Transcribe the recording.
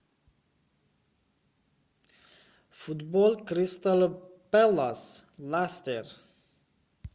футбол кристал пэлас лестер